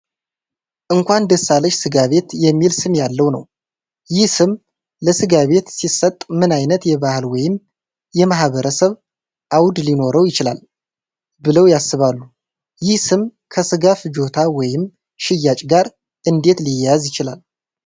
"እንኳን ደስ አለሽ ስጋ ቤት" የሚል ስም ያለው ነው፡፡ ይህ ስም ለሥጋ ቤት ሲሰጥ ምን ዓይነት የባህል ወይም የማኅበረሰብ አውድ ሊኖረው ይችላል ብለው ያስባሉ? ይህ ስም ከሥጋ ፍጆታ ወይም ሽያጭ ጋር እንዴት ሊያያዝ ይችላል?